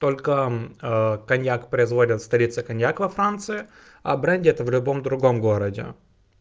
только коньяк производят в столица коньяк во франции о бренде это в любом другом городе